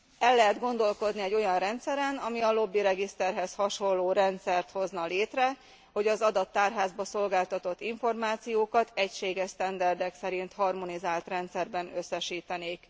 El lehet gondolkodni egy olyan rendszeren, ami a lobbiregiszterhez hasonló rendszert hozna létre, hogy az adattárházba szolgáltatott információkat egységes sztenderdek szerint harmonizált rendszerben összesítenék.